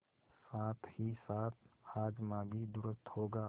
साथहीसाथ हाजमा भी दुरूस्त होगा